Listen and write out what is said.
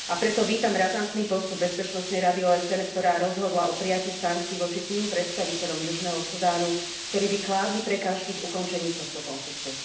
A preto vítam razantný postup Bezpečnostnej rady OSN, ktorá rozhodla o prijatí sankcií voči tým predstaviteľom Južného Sudánu, ktorí by kládli prekážky v ukončení tohto konfliktu.